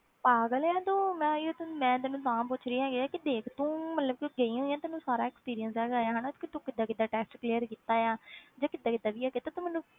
ਪਾਗਲ ਹੈ ਤੂੰ ਮੈਂ ਯਾਰ ਤੈਨੂੰ, ਮੈਂ ਤੈਨੂੰ ਤਾਂ ਪੁੱਛ ਰਹੀ ਹੈਗੀ ਹਾਂ ਕਿ ਦੇਖ ਤੂੰ ਮਤਲਬ ਕਿ ਗਈ ਹੋਈ ਆਂ ਤੈਨੂੰ ਸਾਰਾ experience ਹੈਗਾ ਆ ਹਨਾ ਕਿ ਤੂੰ ਕਿੱਦਾਂ ਕਿੱਦਾਂ test clear ਕੀਤਾ ਆ ਜਾਂ ਕਿੱਦਾਂ ਕਿੱਦਾਂ ਵੀ ਹੈਗਾ ਤੇ ਤੂੰ ਮੈਨੂੰ,